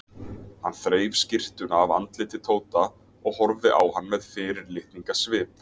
Hann þreif skyrtuna af andliti Tóta og horfði á hann með fyrirlitningarsvip.